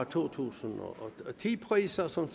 to tusind og ti priser som